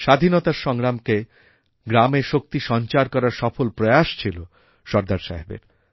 স্বাধীনতার সংগ্রামকে গ্রামে শক্তি সঞ্চার করার সফল প্রয়াস ছিল সর্দার সাহেবের